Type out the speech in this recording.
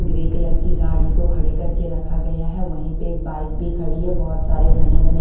grey colour की गाड़ी को खड़े करके रखा गया है वहीं पे एक बाइक भी खड़ी है बहोत सारे घने घने--